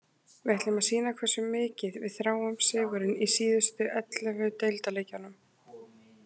Við ætlum að sýna hversu mikið við þráum sigurinn í síðustu ellefu deildarleikjunum.